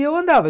E eu andava.